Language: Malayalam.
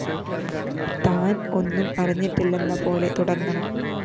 താന്‍ ഒന്നും അറിഞ്ഞിട്ടില്ലെന്നപോലെ തുടങ്ങണം